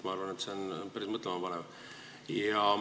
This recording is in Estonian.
Ma arvan, et see on päris mõtlema panev.